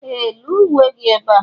Ee! Lee uwe gị ebe a.